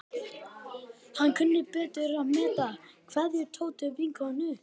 Hann kunni betur að meta kveðjur Tótu vinnukonu.